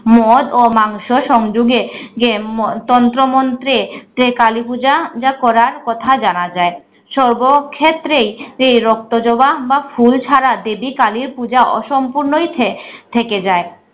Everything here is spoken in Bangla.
মদ ও মাংশ সংযোগে গে তন্ত্রমন্ত্রে যে কালীপূজা জা করার কথা জানা যায়। সর্বক্ষেত্রেই তেই রক্তজবা বা ফুল ছাড়া দেবী কালির পূজা অসম্পূর্ণই থে~ থেকে যায়।